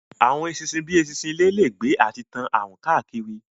Àwọn eṣinṣin bíi eṣinṣin ilé lè gbé àti tán àrùn káàkiri